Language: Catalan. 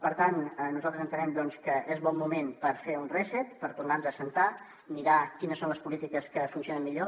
per tant nosaltres entenem que és bon moment per fer un reset per tornar nos a asseure mirar quines són les polítiques que funcionen millor